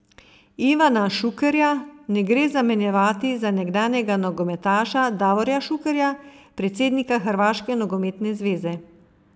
Ivana Šukerja ne gre zamenjevati za nekdanjega nogometaša Davorja Šukerja, predsednika Hrvaške nogometne zveze.